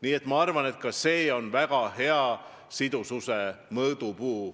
Nii et ma arvan, et ka see on väga hea sidususe mõõdupuu.